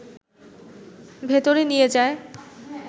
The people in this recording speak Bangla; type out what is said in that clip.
ভেতরে নিয়ে যায়